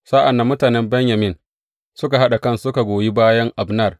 Sa’an nan mutanen Benyamin suka haɗa kansu suka koyi bayan Abner.